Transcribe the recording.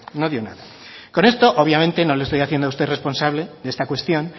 no dio nada con esto obviamente no le estoy haciendo a usted responsable de esta cuestión